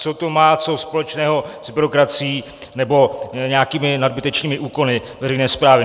Co to má co společného s byrokracií nebo nějakými nadbytečnými úkony veřejné správy?